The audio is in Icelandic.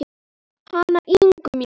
Hana Ingu mína.